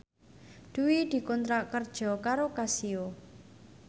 Dwi dikontrak kerja karo Casio